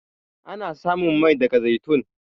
Ana samun Mai daga zaitun.